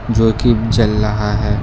जो कि जल रहा है।